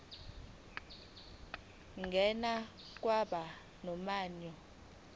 ngena kwabo mnyango